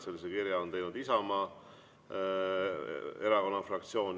Sellise kirja on teinud Isamaa Erakonna fraktsioon.